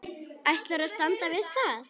Ætlaði að standa við það.